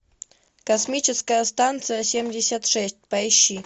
космическая станция семьдесят шесть поищи